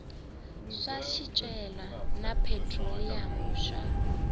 swa swicelwa na phetroliyamu swa